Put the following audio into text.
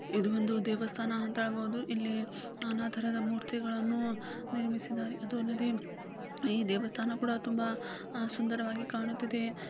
ಇದು ಒಂದು ದೇವಸ್ಥಾನ ಅಂತ ಹೇಳಬಹುದು ಇಲ್ಲಿ ನಾನಾ ತರಹದ ಮೂರ್ತಿಗಳನ್ನು ನಿರ್ಮಿಸಿದ್ದಾರೆ ಅದು ಅಲ್ಲದೆ ದೇವಸ್ಥಾನ ಕೂಡ ತುಂಬಾ ಸುಂದರವಾಗಿ ಕಾಣುತ್ತಿದೆ .